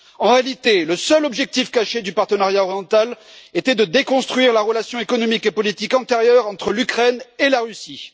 En réalité, le seul objectif caché du partenariat oriental était de déconstruire la relation économique et politique antérieure entre l'Ukraine et la Russie.